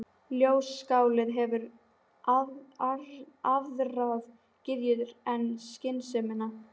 Ljóðskáldið hefur aðrar gyðjur en skynsemina.